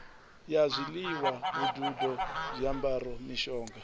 ya zwiḽiwa vhududo zwiambaro mishonga